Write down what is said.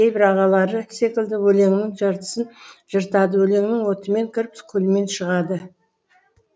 кейбір ағалары секілді өлеңнің жыртысын жыртады өлеңнің отымен кіріп күлімен шығады